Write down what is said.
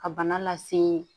Ka bana lase